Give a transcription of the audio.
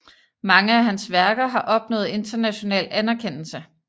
Mange af hans værker har opnået international anerkendelse